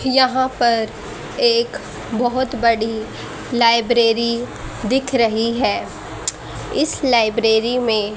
यहां पर एक बहोत बड़ी लाइब्रेरी दिख रही है इस लाइब्रेरी में--